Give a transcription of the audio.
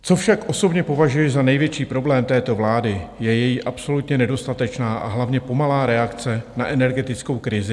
Co však osobně považuji za největší problém této vlády, je její absolutně nedostatečná a hlavně pomalá reakce na energetickou krizi.